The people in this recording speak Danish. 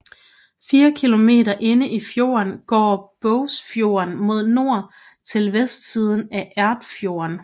Fire kilometer inde i fjorden går Bogsfjorden mod nord til vestsiden af Erfjord